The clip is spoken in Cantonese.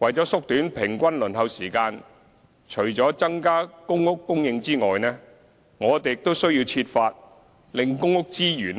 為縮短平均輪候時間，除了增加公屋供應外，我們亦需要設法令公屋資源